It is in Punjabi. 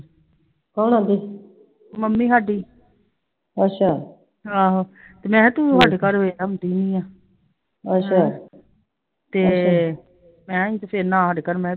ਕੌਣ ਕਹਿੰਦੀ?